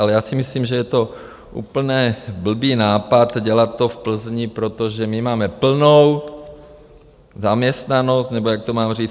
Ale já si myslím, že je to úplné blbý nápad dělat to v Plzni, protože my máme plnou zaměstnanost - nebo jak to mám říct?